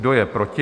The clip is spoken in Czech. Kdo je proti?